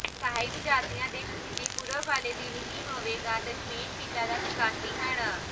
ਸਾਹਿਬਜ਼ਾਦਿਆਂ ਦੇ ਸ਼ਹੀਦੀ ਪੁਰਬ ਵਾਲੇ ਦਿਨ ਹੀ ਹੋਵੇਗਾ ਦਸ਼ਮੇਸ਼ ਪਿਤਾ ਦਾ ਪ੍ਰਕਾਸ਼ ਦਿਹਾੜਾ